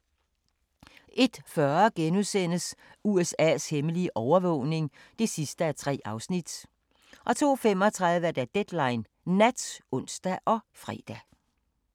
01:40: USA's hemmelige overvågning (3:3)* 02:35: Deadline Nat (ons og fre)